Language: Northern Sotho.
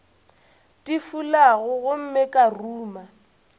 di fulago gomme ka ruma